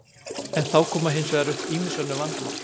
En þá koma hins vegar upp ýmis önnur vandamál.